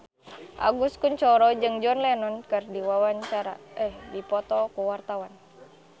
Agus Kuncoro jeung John Lennon keur dipoto ku wartawan